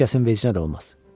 Heç kəsin vecinə də olmaz.